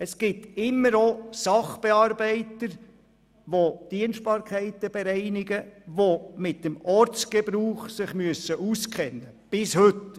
Es gibt immer auch Sacharbeiter, die Dienstbarkeiten bereiten und sich mit dem Ortsgebrauch auskennen müssen.